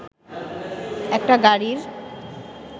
একটা গাড়ির